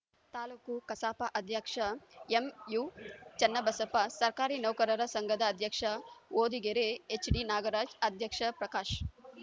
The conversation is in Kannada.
ತಾಲುಕು ಕಸಾಪ ಅಧ್ಯಕ್ಷ ಎಂಯುಚನ್ನಬಸಪ್ಪ ಸರ್ಕಾರಿ ನೌಕರರ ಸಂಘದ ಅಧ್ಯಕ್ಷ ಹೊದಿಗೆರೆ ಎಚ್‌ಡಿನಾಗರಾಜ್‌ ಅಧ್ಯಕ್ಷ ಪ್ರಕಾಶ್‌